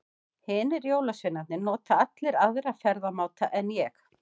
Hinir jólasveinarnir nota allir aðra ferðamáta en ég.